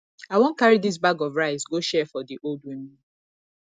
i wan carry dis bag of rice go share for di old women